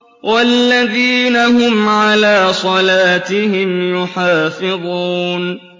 وَالَّذِينَ هُمْ عَلَىٰ صَلَاتِهِمْ يُحَافِظُونَ